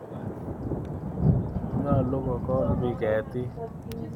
Nyalu kokol piik ketik